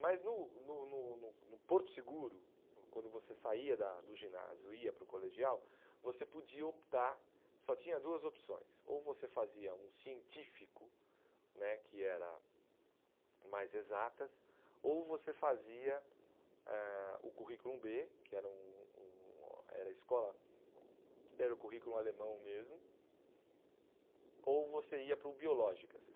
Mas no no no no no Porto Seguro, no quando você saía da do ginásio e ia para o colegial, você podia optar, só tinha duas opções, ou você fazia um científico né, que era mais exatas, ou você fazia eh o currículo bê, que era um um era a escola era o currículo alemão mesmo, ou você ia para o biológicas.